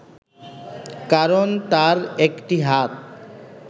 কারণ তার একটি হাত